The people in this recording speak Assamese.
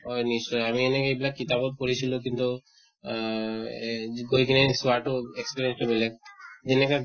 হয় নিশ্চয় আমি নেকেকে এইবিলাক কিতাপত পঢ়িছিলো কিন্তু আহ এ গৈ কিনে চোৱাতো তো বেলেগ। যেনেকা